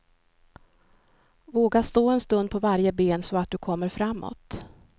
Våga stå en stund på varje ben så att du kommer framåt.